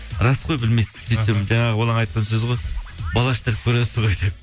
рас қой білмейсің сөйтсем жаңағы оның айтқан сөзі ғой бал аштырып көресіз ғой деп